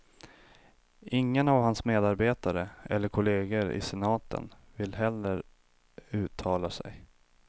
Ingen av hans medarbetare eller kolleger i senaten vill heller uttala sig.